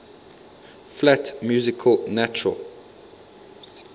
flat music natural